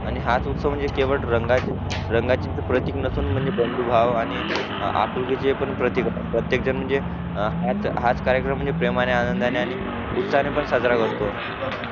हाच उत्सव म्हणजे केवळ रंगाची प्रतीक नसून बंधू भाव आणि आपुलकीचे पण प्रत्येकजण म्हणजे हाच कार्यक्रम म्हणजे प्रेमाने आणि आनंदाने आणि उत्साहाने पण साजरा करतो